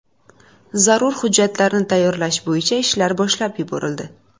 Zarur hujjatlarni tayyorlash bo‘yicha ishlar boshlab yuborildi.